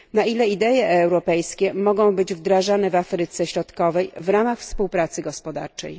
Na ile idee europejskie mogą być wdrażane w Afryce Środkowej w ramach współpracy gospodarczej?